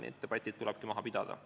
Need debatid tulebki maha pidada.